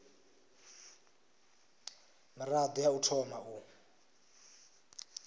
mirado ya u thoma u